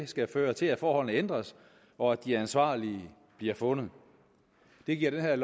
skal føre til at forholdene ændres og at de ansvarlige bliver fundet det giver det her